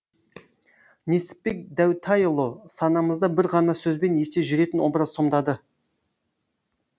несіпбек дәутайұлы санамызда бір ғана сөзбен есте жүретін образ сомдады